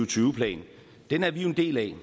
tyve plan den er vi jo en del af